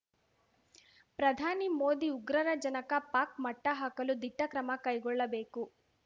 ಪ್ರಧಾನಿ ಮೋದಿ ಉಗ್ರರ ಜನಕ ಪಾಕ್‌ ಮಟ್ಟಹಾಕಲು ದಿಟ್ಟಕ್ರಮ ಕೈಗೊಳ್ಳಬೇಕು